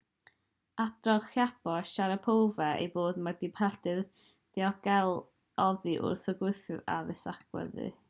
adroddodd chiao a sharipov eu bod nhw pellter diogel oddi wrth y gwthwyr addasu agwedd